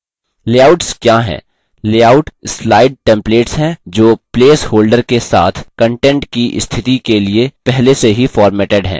layouts क्या हैं layout slide templates हैं जो प्लेसहोल्डर के साथ content की स्थिति के लिए पहले से ही formatted हैं